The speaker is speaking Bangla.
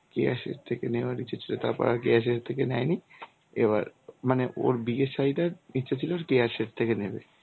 কেয়া শেঠ থেকে নেওয়ার ইচ্ছে ছিল. তারপর আর কেয়া শেঠ থেকে নেয়নি. এবার মানে ওর বিয়ের শাড়ি টা ইচ্ছে ছিল ওর কেয়া শেঠ থেকে নেবে,